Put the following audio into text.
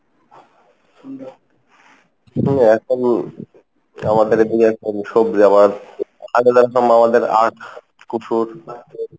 জি এখন আগে যেরকম আমাদের আখ কুসুর,